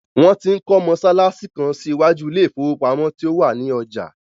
Wọ́n ti ń kọ́ mọsálásí kan sí iwájú ilé ìfowópamọ́ tí ó wà ní ọjà.